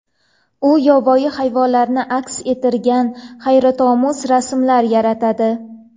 U yovvoyi hayvonlarni aks ettirgan hayratomuz rasmlar yaratadi.